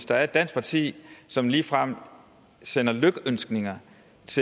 der er et dansk parti som ligefrem sender lykønskninger